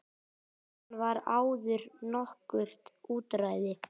Þaðan var áður nokkurt útræði.